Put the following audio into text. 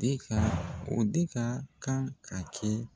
De ka o de ka kan ka kɛ